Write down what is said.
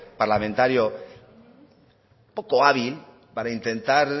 parlamentario poco hábil para intentar